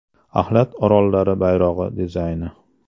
Axlat orollari bayrog‘i dizayni.